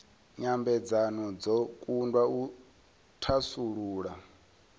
nyambedzano dzo kundwa u thasulula